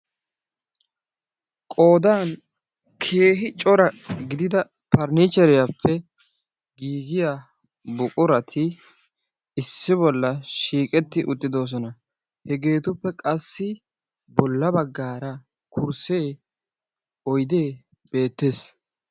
Qoodan keehi giidida perenichcheriyaappe gigiyaa buqurati issi bolla shiiqqeti uttidoosona. hegeetuppe qassi boolla baggaara kursee oydee beettees.